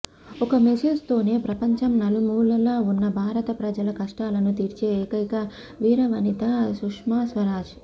ఒక్క మెస్సేజ్ తోనే ప్రపంచం నలుమూలల ఉన్న భారత ప్రజల కష్టాలను తీర్చే ఏకైక వీరవనిత సుష్మాస్వరాజ్